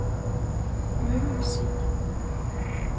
Møgelsig